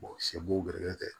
sɛ b'u gɛrɛlen tɛ